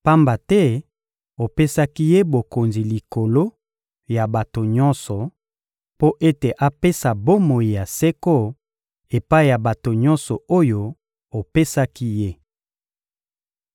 pamba te opesaki Ye bokonzi likolo ya bato nyonso, mpo ete apesa bomoi ya seko epai ya bato nyonso oyo opesaki Ye.